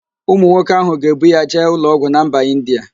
Ụmụ nwoke ahụ ga-ebu ya jee ụlọọgwụ na mba Indịa